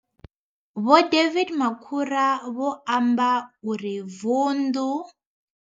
Vho David Makhura vho amba uri vundu.